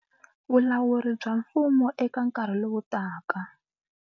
Vulawuri bya mfumo eka nkarhi lowu taka.